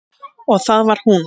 Og það var hún.